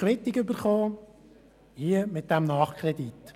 Mit diesem Nachkredit haben wir jetzt die Quittung erhalten.